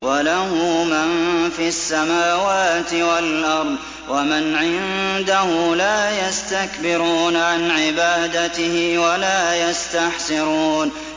وَلَهُ مَن فِي السَّمَاوَاتِ وَالْأَرْضِ ۚ وَمَنْ عِندَهُ لَا يَسْتَكْبِرُونَ عَنْ عِبَادَتِهِ وَلَا يَسْتَحْسِرُونَ